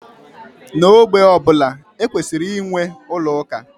N'ogbé ọ bụla, e kwesịrị inwe ụlọ ụka.